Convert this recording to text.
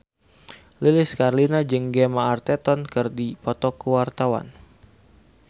Lilis Karlina jeung Gemma Arterton keur dipoto ku wartawan